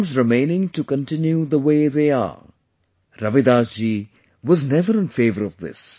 Things remaining to continue the way they are... Ravidas ji was never in favour of this